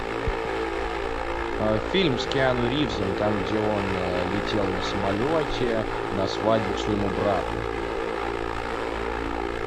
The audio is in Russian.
фильм с киану ривзом там где он летел на самолете на свадьбу к своему брату